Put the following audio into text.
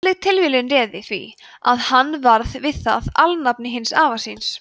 heppileg tilviljun réði því að hann varð við það alnafni hins afa síns